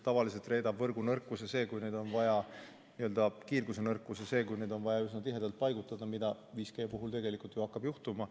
Tavaliselt reedab võrgu nõrkuse, n-ö kiirguse nõrkuse see, kui on vaja üsna tihedalt paigutada, nagu 5G puhul tegelikult ju hakkab juhtuma.